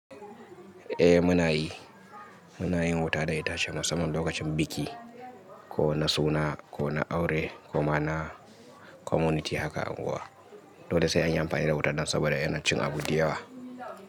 Eh muna yi, muna yin wuta da itace musamman lokacin biki ko na suna ko na aure ko ma na community haka unguwa. Dole sai an yi amfani da wuta don saboda yana cin abu da yawa.